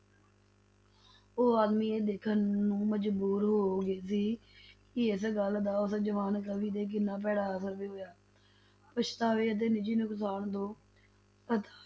ਉਹ ਆਦਮੀ ਇਹ ਦੇਖਣ ਨੂੰ ਮਜਬੂਰ ਹੋ ਗਿਆ ਸੀ ਕਿ ਇਸ ਗੱਲ ਦਾ ਉਸ ਜਵਾਨ ਕਵੀ ਤੇ ਕਿੰਨਾ ਭੈੜਾ ਅਸਰ ਵੀ ਹੋਇਆ, ਪਛਤਾਵੇ ਅਤੇ ਨਿੱਜੀ ਨੁਕਸਾਨ ਤੋਂ ਹਤਾਸ਼